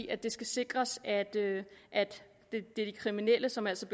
at det skal sikres at det er de kriminelle som altså